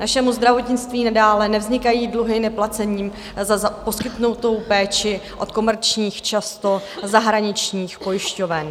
Našemu zdravotnictví nadále nevznikají dluhy neplacením za poskytnutou péči od komerčních, často zahraničních pojišťoven.